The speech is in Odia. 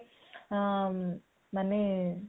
ମାନେ